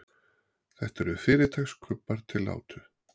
þetta eru fyrirtaks krabbar til átu